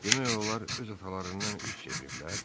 Demək olar öz atalarından üz çeviriblər?